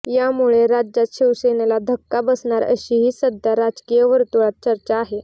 यामुळे राज्यात शिवसेनेला धक्का बसणार अशीही सध्या राजकीय वर्तुळात चर्चा आहे